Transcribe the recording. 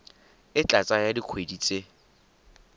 e tla tsaya dikgwedi tse